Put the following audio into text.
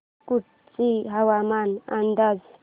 कुडची हवामान अंदाज